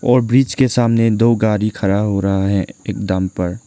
और बीच के सामने दो गाड़ी खराब हो रहा है एकदम पर।